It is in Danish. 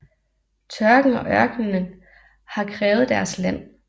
Tørken og ørkenen har krævet deres land